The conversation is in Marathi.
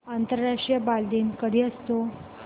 आंतरराष्ट्रीय बालदिन कधी असतो